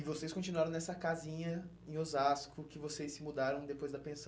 E vocês continuaram nessa casinha em Osasco que vocês se mudaram depois da pensão.